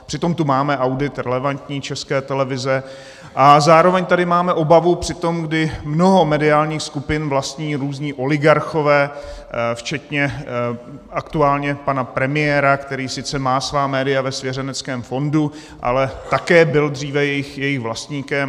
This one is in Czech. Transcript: Přitom tu máme audit relevantní České televize a zároveň tady máme obavu při tom, kdy mnoho mediálních skupin vlastní různí oligarchové, včetně aktuálně pana premiéra, který sice má svá média ve svěřenském fondu, ale také byl dříve jejich vlastníkem.